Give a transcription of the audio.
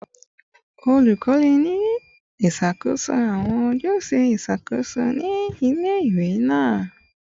Olukọni n ṣakoso awọn ojuse iṣakoso ni ile-iwe naa